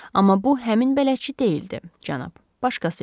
Amma bu həmin bələdçi deyildi, cənab, başqası idi.